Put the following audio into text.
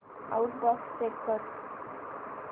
outbox check कर